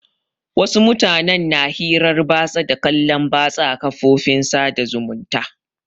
Wasu mutanen na hirar batsa da kallon batsa a kafofin sada zumunta.